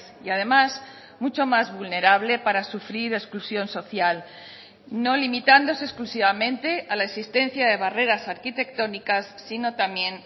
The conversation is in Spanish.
y además mucho más vulnerable para sufrir exclusión social no limitándose exclusivamente a la existencia de barreras arquitectónicas sino también